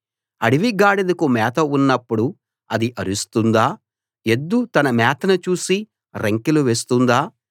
అడవి గాడిదకు మేత ఉన్నప్పుడు అది అరుస్తుందా ఎద్దు తన మేతను చూసి రంకెలు వేస్తుందా